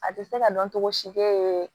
A tɛ se ka dɔn cogo si